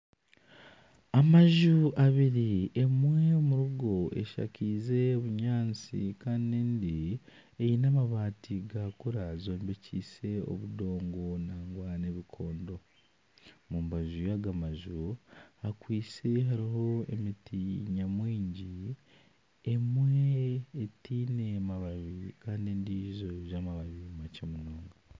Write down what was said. Amaju abiri emwe omuri go eshakiize obunyaatsi kandi endi eyine amabaati gakura zombekiise obudongo nangwa n'ebikondo. Omu mbaju yaago maju hakwitse harimu emiti nyamwingi emwe teyine mabaari kandi endiijo eyine amababi makye munonga.